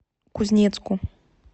кузнецку